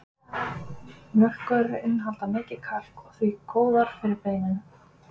Mjólkurvörur innihalda mikið kalk og því góðar fyrir beinin.